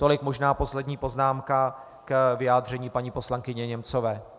Tolik možná poslední poznámka k vyjádření paní poslankyně Němcové.